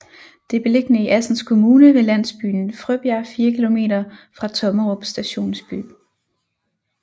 Det er beliggende i Assens Kommune ved landsbyen Frøbjerg 4 kilometer fra Tommerup Stationsby